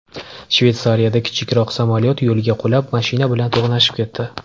Shveysariyada kichikroq samolyot yo‘lga qulab, mashina bilan to‘qnashib ketdi.